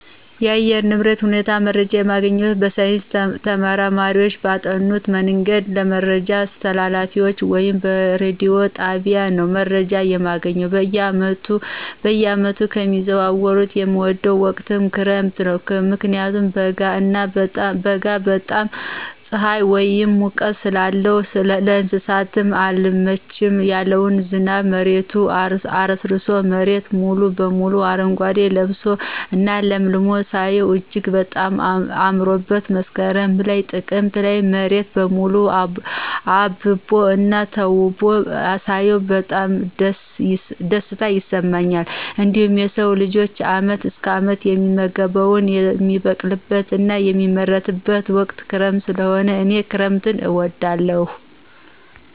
የአየር ንብረት ሁኔታ መረጃ የሚገኝበት በሳይንስ ተመራማሪዎች ባጠኑበት መንገድ ለመረጃ አስተላላፊዎች ወይም በረዲዮ ጣቢያ ነው መረጃ የማገኘው። በየዓመቱ ከሚዘዋወሩት የምወደው ወቅት ክረምት ነው ምክንያቱም በጋ እና በጣም ፅሐይ ወይም ሙቀት ለስውም ለእንሰሳውም አልመች ያለውን ዝናብ መሬቱን አረስርሶ መሬት ሙሉ በሙሉ አረጓዴ ለብሶ እና ለምልሞ ሳየው እጅግ በጣም አምሮበት መስከረም ላይ ጥቅምት ላይ መሬት በሙሉ አብቦ እና ተውቦ ሳያው በጣም ደስታ ይሰማኛል። እንዲሁም የሰው ልጅ አመት እስከ አመት የሚመገበውን የሚበቅልበት እና የሚመረትበት ወቅት ክረምት ሰለሆነ እኔ ክረምትን እወዳለሁ።